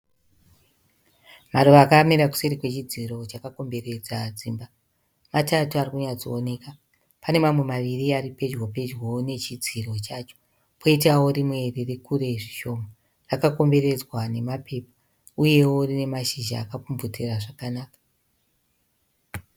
Maruva akamira kuseri kwechidziro chakakomberedza dzimba. Matatu ari kunyatsooneka. Pane mamwe maviri ari pedyopedyowo nechidziro chacho poitawo rimwe riri kure zvishoma. Akakomberedzwa namapepa uyewo rine mashizha akapfumvutira zvakanaka.